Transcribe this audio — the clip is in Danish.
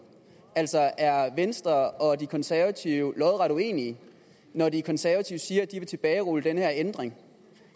altså er venstre og de konservative lodret uenige når de konservative siger at de vil tilbagerulle den her ændring